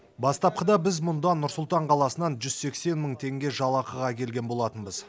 бастапқыда біз мұнда нұр сұлтан қаласынан жүз сексен мың теңге жалақыға келген болатынбыз